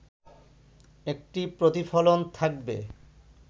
একটি প্রতিফলন থাকবে